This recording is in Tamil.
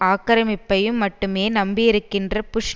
ஆக்கிரமிப்பையும் மட்டுமே நம்பியிருக்கின்ற புஷ்